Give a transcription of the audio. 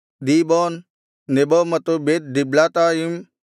ದೀಬೋನ್ Nebo ಮತ್ತು Beth Diblathaim